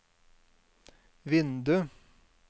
vindu